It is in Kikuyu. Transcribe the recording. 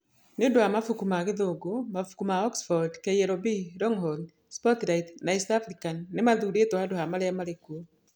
Nĩ ũndũ wa mabuku ma Gĩthũngũ, mabuku ma Oxford, KLB, Longhorn, Spotlight na East African nĩ mathurĩtwo handũ ha marĩa marĩ kuo.